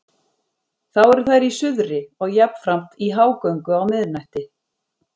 Þá eru þær í suðri og jafnframt í hágöngu á miðnætti.